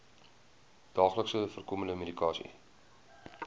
daagliks voorkomende medikasie